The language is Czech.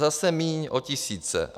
Zase míň, o tisíce.